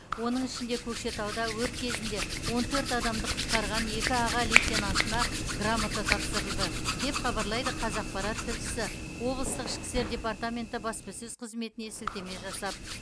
оның ішінде көкшетауда өрт кезінде он төрт адамды құтқарған екі аға лейтенантына грамота тапсырылды деп хабарлайды қазақпарат тілшісі облыстық ішкі істер департаменті баспасөз қызметіне сілтеме жасап